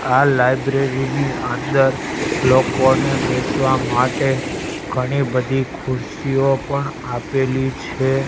આ લાઈબ્રેરી ની અંદર લોકોને બેસવા માટે ઘણી બધી ખુરશીઓ પણ આપેલી છે.